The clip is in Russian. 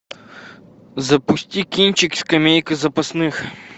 запусти кинчик скамейка запасных